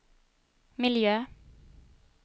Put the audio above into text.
miljö